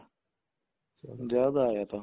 ਜਦ ਆਇਆ ਥਾ